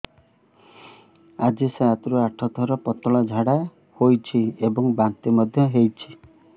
ଆଜି ସାତରୁ ଆଠ ଥର ପତଳା ଝାଡ଼ା ହୋଇଛି ଏବଂ ବାନ୍ତି ମଧ୍ୟ ହେଇଛି